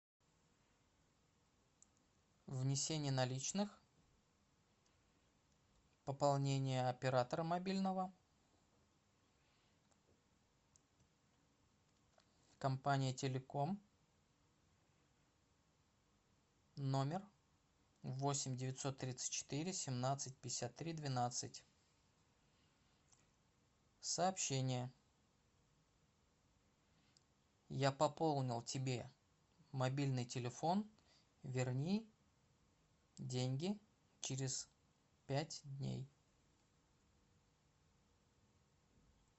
внесение наличных пополнение оператора мобильного компания телеком номер восемь девятьсот тридцать четыре семнадцать пятьдесят три двенадцать сообщение я пополнил тебе мобильный телефон верни деньги через пять дней